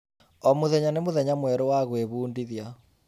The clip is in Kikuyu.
O mũthenya nĩ mũthenya mwerũ wa gwĩbundithia.